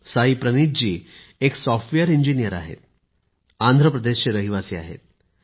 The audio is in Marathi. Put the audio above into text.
साईप्रनीथ जी एक सॉफ्टवेअर इंजिनियर आहेत आंध्रप्रदेशचे रहिवासी आहेत